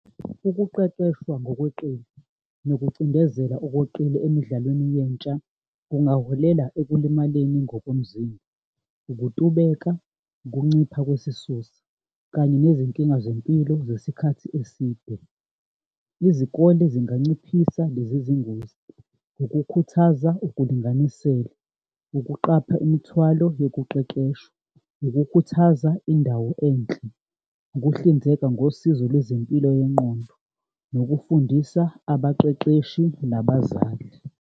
Ukuqeqeshwa ngokweqile nokucindezelwa okweqile emidlalweni yentsha kungaholela ekulimaleni ngokomzimba, ukutubeka, ukuncipha kwesisusa, kanye nezinkinga zempilo zesikhathi eside. Izikole zinganciphisa lezi zingozi ngokukhuthaza ukulinganisela, ukuqapha imithwalo yokuqeqesha, ukukhuthaza indawo enhle, ukuhlinzeka ngosizo lwezempilo yengqondo, nokufundisa abaqeqeshi nabazali.